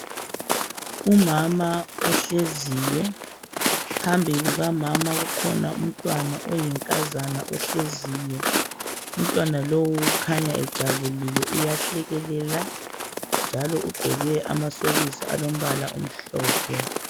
Umama ohleziyo, phambi kukamama kukhona umntwana oyinkazana ohleziyo. Umntwana lowu ukhanya ejabulile. Uyahlekelela njalo ugqoke amasokisi alombala omhlophe.